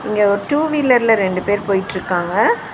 இங்க ஒரு டூ . வீலர்ல ரெண்டு பேர் போயிட்ருக்காங்க.